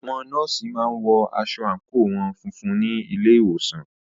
Àwọn nọ́ọ̀sì má ń wọ aṣọ àńkò wọn funfun ní ilé ìwòsàn